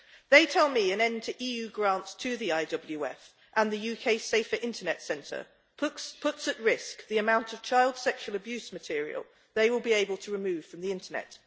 They tell me an end to EU grants to the IWF and the UK Safer Internet Centre puts at risk the amount of child sexual abuse material they will be able to remove from the Internet.